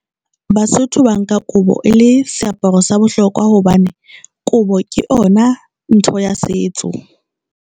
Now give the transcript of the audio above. Basotho ba nka kobo e le seaparo sa bohlokwa hobane kobo ke yona ntho ya setso.